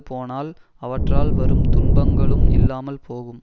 போனால் அவற்றால் வரும் துன்பங்களும் இல்லாமல் போகும்